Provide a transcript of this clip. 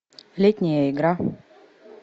летняя игра